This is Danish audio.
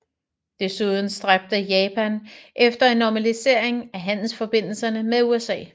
Desuden stræbte Japan efter en normalisering af handelsforbindelserne med USA